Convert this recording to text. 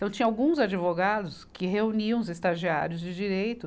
Então, tinha alguns advogados que reuniam os estagiários de direito.